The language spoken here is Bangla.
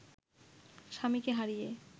স্বামীকে হারিয়ে